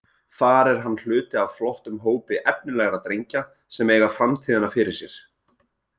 Þar er hann hluti af flottum hópi efnilegra drengja sem eiga framtíðina fyrir sér.